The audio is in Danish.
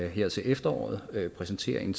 her til efteråret præsenterer en